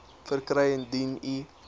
verkry indien u